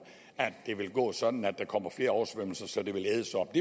at det vil gå sådan at der kommer flere oversvømmelser så det vil ædes op